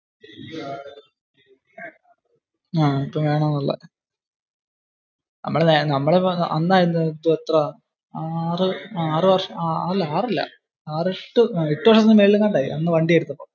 നമ്മളിപ്പോ വണ്ടി എടുത്തപ്പോ എട്ടു വർഷത്തിന് മേലെ ആയി